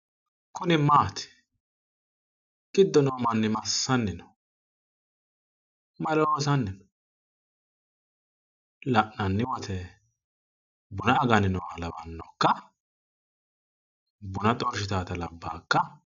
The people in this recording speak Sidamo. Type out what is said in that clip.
Kuni maati? Giddo noo manni massanni no? Maa loosanni no? La'nanni wote buna aganni nooha lawanno ikka? Buna xorshitaata labbaa ikka?